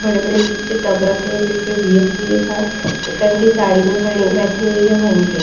बड़े-बड़े टब रखे जिस पे बी_एस_पी लिखा है एक अंटी साड़ी में खड़ी बैठी हुई है वहीं पे।